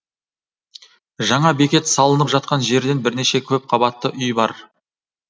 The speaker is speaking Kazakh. жаңа бекет салынып жатқан жерде бірнеше көпқабатты үй бар